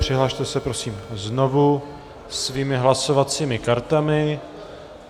Přihlaste se prosím znovu svými hlasovacími kartami.